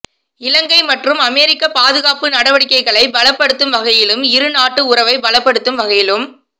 இலங்கை மற்றும் அமெரிக்க பாதுகாப்பு நடவடிக்கைகளை பலப்படுத்தும் வகையிலும் இருநாட்டு உறவை பலபடுத்தும் வகையிலும்